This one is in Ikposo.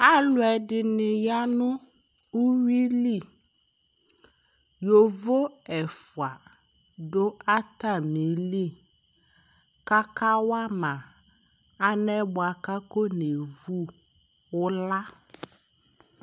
Aluɛɖini aya nʋ uwuili Yovo ɛfua ɖʋ atamili k'akawama, alɛnɛ bua k'akɔ nɛvʋ ʋla